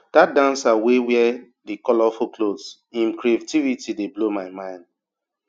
dat dancer wey wear di colourful cloth im creativity dey blow my mind